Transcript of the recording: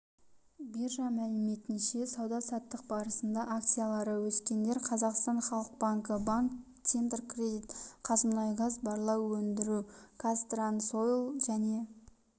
биржа мәліметінше сауда-саттық барысында акциялары өскендер қазақстан халық банкі банк центркредит қазмұнайгаз барлау өндіру казтрансойл және